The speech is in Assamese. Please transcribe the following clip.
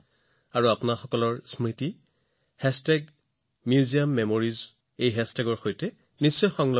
অনুগ্ৰহ কৰি আপোনাৰ অভিজ্ঞতা মিউজিয়ামেমৰিজ সৈতে ভাগ বতৰা কৰক